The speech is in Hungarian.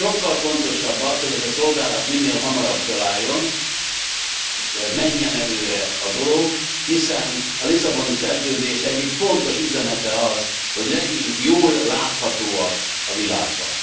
Sokkal fontosabb az, hogy ez a szolgálat minél hamarabb fölálljon, menjen előre a dolog, hiszen a Lisszaboni Szerződés egyik fontos üzenete az, hogy legyünk jól láthatóak a világban.